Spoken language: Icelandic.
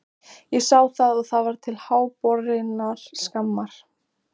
Hættuástandið heima fyrir nær hámarki á útborgunardegi þegar